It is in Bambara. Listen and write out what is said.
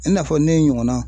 I n'a fɔ ne ɲɔgɔnna